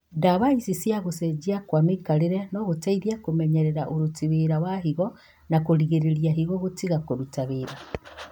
Ndawa ici na gũcenjia kwa mĩikarĩre no gũteithie kũmenyerera ũruti wĩra wa higo na kũrigĩrĩria higo gũtiga kũruta wĩra